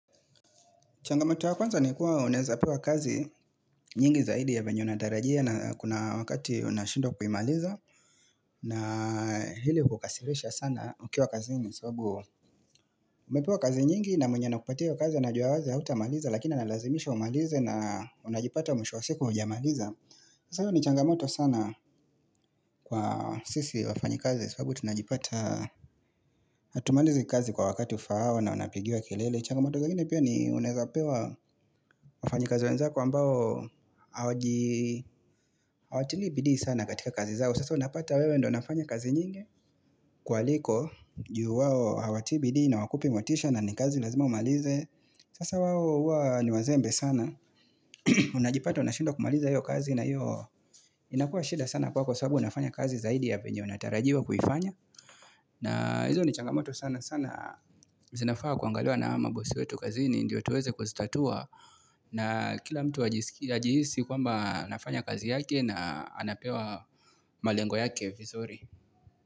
Changamoto ya kwanza ni kuwa unaezapewa kazi nyingi zaidi ya venye unatarajia na kuna wakati unashindwa kuimaliza na hili hukasirisha sana ukiwa kazini sababu umepewa kazi nyingi na mwenye anakupatia kazi anajua wazi hautamaliza Lakina analazimisha umalize na unajipata mwisho wa siku hujamaliza sasa ni changamoto sana kwa sisi wafanyikazi sababu tunajipata hatumalizi kazi kwa wakati ufaao na unapigiwa kilele changamoto nyingine pia ni unaezapewa wafanyikazi wenzako ambao hawatilii bidii sana katika kazi zao. Sasa unapata wewe ndio unafanya kazi nyingi kuwaliko. Juu wao hawatili bidii na hawakupi motisha na ni kazi lazima umalize. Sasa wao huwa ni wazembe sana. Unajipata unashindwa kumaliza hiyo kazi na hivyo inakuwa shinda sana kwako sababu unafanya kazi zaidi ya venye unatarajiwa kuifanya. Na hizo ni changamoto sana sana zinafaa kuangaliwa na mabossi wetu kazini ndio tuweze kuzitatua. Na kila mtu ajihisi kwamba anafanya kazi yake na anapewa malengo yake.